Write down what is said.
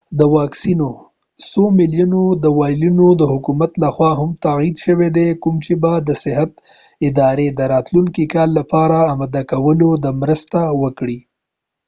څو میلیونه د incephalitis واکسینو وایلونه د حکومت لخوا هم تعهد شوي کوم چې به د صحت ادارې د راتلونکي کال لپاره آماده کولو کې مرسته وکړي